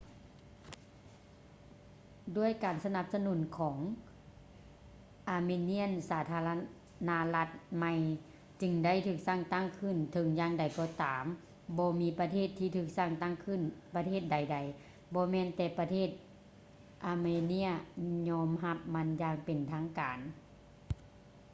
ດ້ວຍການສະໜັບສະໜູນຂອງ armenian ສາທາລະນະລັດໃໝ່ຈຶ່ງໄດ້ຖືກສ້າງຕັ້ງຂື້ນ ເຖິງຢ່າງໃດກໍຕາມບໍ່ມີປະເທດທີ່ຖືກສ້າງຕັ້ງຂຶ້ນປະເທດໃດໃດ ບໍ່ແມ່ນແຕ່ປະເທດ armenia ຍອມຮັບມັນຢ່າງເປັນທາງການ